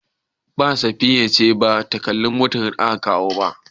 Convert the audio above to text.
Ba, Safiya ce ba ta kalli motar da aka kawo.